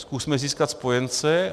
Zkusme získat spojence.